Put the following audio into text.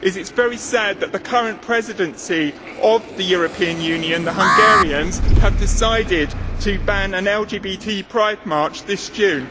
It is very sad that the current Presidency of the European Union, the Hungarians, have decided to ban an LGBT pride march this June.